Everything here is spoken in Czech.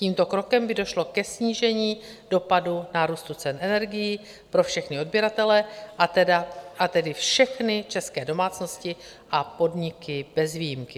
Tímto krokem by došlo ke snížení dopadu nárůstu cen energií pro všechny odběratele, a tedy všechny české domácnosti a podniky bez výjimky.